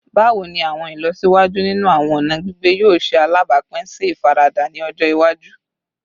Bawo ni awọn ilọsiwaju ninu awọn ọna gbigbe yoo ṣe alabapin si ifarada ni ọjọ iwaju?